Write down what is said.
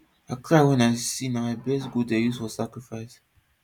i cry when i see na my best goat dem dey use for sacrifice